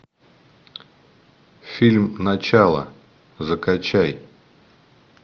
фильм начало закачай